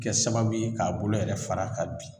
Kɛ sababu ye k'a bolo yɛrɛ fara k'a bi